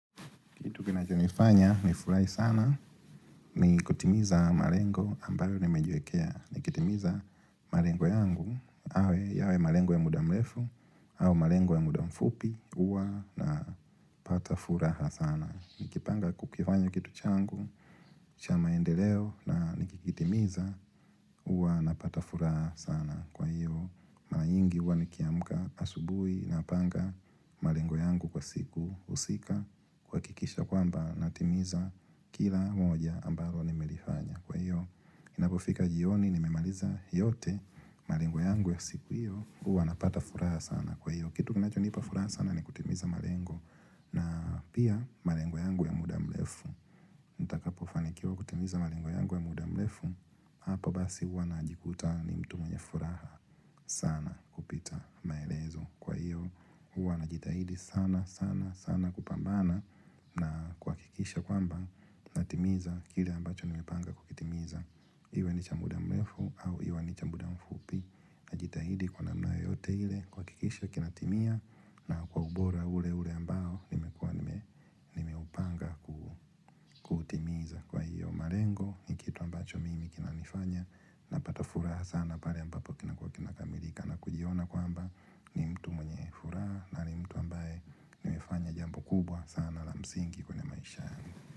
Kitu kinacho nifanya nifurahi sana, ni kutimiza malengo ambayo nimejiwekea. Nikitimiza malengo yangu, awe yawe malengo ya muda mrefu, au malengo ya muda mfupi, huwa napata furaha sana. Nikipanga kukifanya kitu changu, cha maendeleo na nikikitimiza, huwa napata furaha sana. Kwa hiyo, mara nyingi huwa nikiamka asubuhi napanga malengo yangu kwa siku husika kuhakikisha kwamba natimiza kila moja ambalo nimelifanya. Kwa hiyo, inapofika jioni nimemaliza yote malengo yangu ya siku hiyo huwa napata furaha sana. Kwa hiyo, kitu kinachonipa furaha sana ni kutimiza malengo na pia malengo yangu ya muda mrefu. Nitakapofanikiwa kutimiza malengo yangu wa muda mrefu Hapa basi huwa najikuta ni mtu mwenye furaha sana kupita maelezo Kwa iyo huwa najitahidi sana sana sana kupambana na kuhakikisha kwamba Natimiza kile ambacho nimepanga kukitimiza Iwe ni cha muda mrefu au iwe ni cha muda mfupi Najitahidi kwa namna yoyote ile kuhakikisha kinatimia na kwa ubora ule ule ambao nimekuwa nimeupanga malengo ni kitu ambacho mimi kinanifanya napata furaha sana pale ambapo kinakuwa kimekamilika na kujiona kwamba ni mtu mwenye furaha na ni mtu ambaye nimefanya jambo kubwa sana la msingi kwenye m.